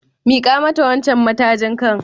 Miko mata wancan matajin kan.